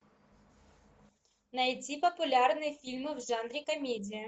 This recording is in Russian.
найти популярные фильмы в жанре комедия